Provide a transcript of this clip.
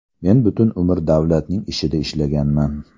Men butun umr davlatning ishida ishlaganman.